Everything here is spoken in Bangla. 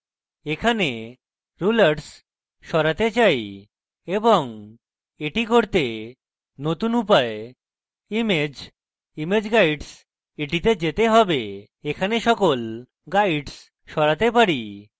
এখন rulers সরাতে চাই এবং এটি করতে নতুন উপায় image image guides এ যেতে হবে এবং এখানে সকল guides সরাতে পারি